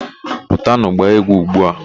Pụtanụ gbaa egwu ugbu a!